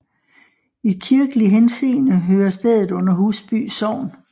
I kirkelig henseende hører stedet under Husby Sogn